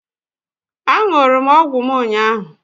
Á ṅụrụ m ọgwụ m ụnyaahụ